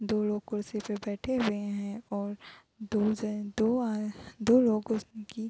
दो लोग कुर्शी पर बैठे हुए है और दो जन दो आ दो लोगों की --